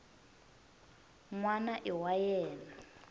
n wana i wa yena